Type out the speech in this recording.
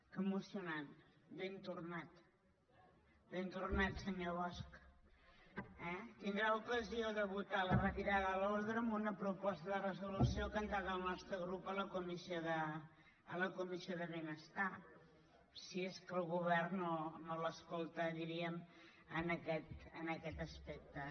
que emocionant ben tornat ben tornat senyor bosch eh tindrà l’ocasió de votar la retirada de l’ordre amb una proposta de resolució que ha entrat el nostre grup a la comissió de benestar si és que el govern no l’escolta diríem en aquest aspecte